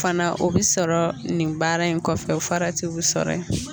O fana o bɛ sɔrɔ nin baara in kɔfɛ, o faratiw bɛ sɔrɔ yen.